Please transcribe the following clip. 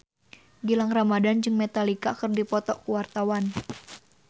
Gilang Ramadan jeung Metallica keur dipoto ku wartawan